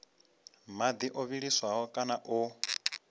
madi o vhiliswaho kana o